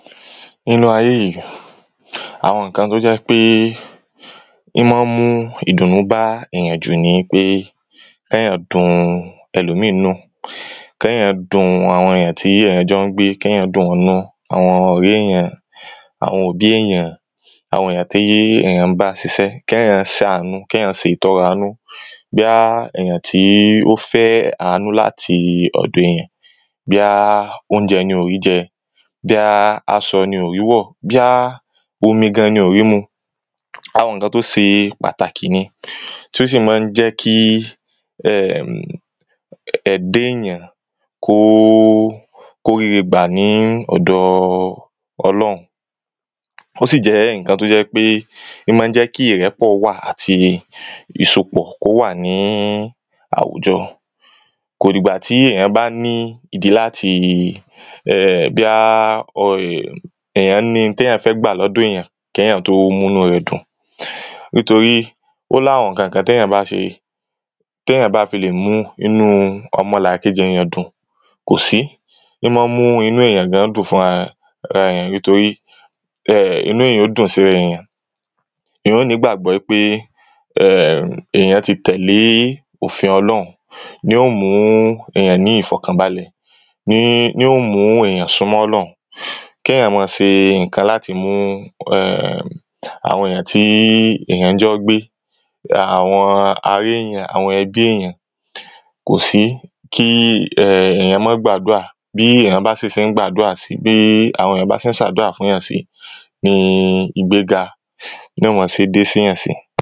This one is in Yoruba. nínú ayé yìí, àwọn ǹkan tó jẹ́ pé ń máa mú ìdùnnú bá yàn jù ni wípé kéyàn dun ẹlòmíì nínú kéyàn dun àwọn èyàn tí èyàn jọ ńgbé kéyàn dùn wọ́n nínú. àwọn ọ̀rẹ́ èyàn, àwọn òbí èyán, àwọn èyàn tí èyàn ń bá sisẹ́, kéyàn sánú, kéyan se ìtọrẹ àánú bóyá èyàn tí ó fẹ́ àánú láti ọ̀dọ èyàn bóyá oúnjẹ ni ò ríi jẹ, bóyá asọ ni ò rí wọ̀, bóyá omi gan ni ò rí mu àwọn ǹkan tó se pàtàkì ni, tí ó sì máa ń jẹ́ kí ẹm ẹ̀da èyàn kó ó kó ríre gbà ní ọ̀dọ ọlọ́hun ó sì jẹ́ ǹkan tó jẹ́ pé ń máa jẹ́ kí ìrẹ́pọ̀ àti ìsopọ̀ kó wà ní àwùjọ kò dìgbà tí èyàn bá ní ìdí láti ehn bóyá èyàn ní ihun téyàn fẹ́ gbà lọ́dọ̀ èyàn kéyàn tó mú inú rẹ̀ dùn nítorí ó láwọn ǹkankan téyàn bá ṣe, téyàn bá fi lè mú inú ọmọlàkejì yàn dùn, kò sí, ń máa mú inú èyàn gan dùn fúnrararẹ̀ nítorí inú èyàn ó dùn síra èyàn èyàn ó ní ìgbàgbọ́ ípé èyàn ti tẹ̀lé òfin ọlọ́hun yóò mú èyàn ní ìfọ̀kànbalẹ̀ ní ní ó mú ènìyàn súnmọ́ ọlọ́hun kéyàn máa se ǹkan láti mú àwọn èyàn tí èyàn jọ ń gbé àwọn ará èyàn, àwọn ẹbí èyàn, kò sí kí èyàn máà gbàdúrà, bí èyàn bá si se ń gbàdúrà sí, bí àwọn èyàn bá se ń sàdúrà fún yàn sí, ni ìgbéga ni o máa se dé séyàn sí.